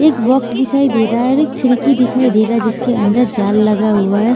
एक बॉक्स दिखाई दे रहा है और एक खिड़की दिखाई दे रहा है जिसके अंदर जाल लगा हुआ है।